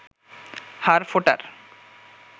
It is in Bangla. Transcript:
হাড় ফোটার